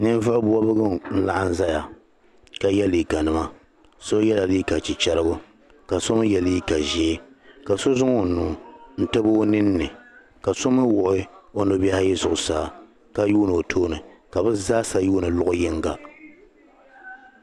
Ninvuɣ'bɔb'gu n laɣim zaya ka ye liiganima so yɛla liiga chichɛrigu ka so mi ye liiga ʒee ka so zaŋ o nuu n tabi o nini ka so mi waɣi nubihi ayi zuɣusaa ka yuuni o tooni ka bɛ zaasa yuuni lɔɣi yinga .